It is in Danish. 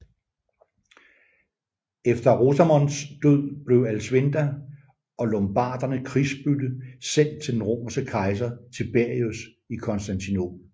Efter Rosamonds død blev Alsvinda og lombarderne krigsbytte sendt til den romerske kejser Tiberius i Konstantinopel